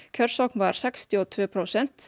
kjörsókn var sextíu og tvö prósent